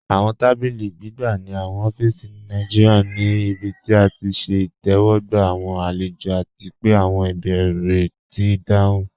Awọn tàbílí gbìgbà ní awọn ófíísì Nàìjíríà ní ìbí tí à ti ṣẹ̀ ìtẹwọgba awọn alẹ̀jọ, àti pẹ̀ awọn ìbèérè ti dáhùn.